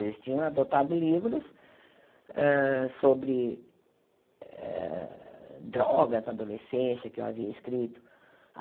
Eles tinham adotado livros hã sobre eh drogas na adolescência que eu havia escrito.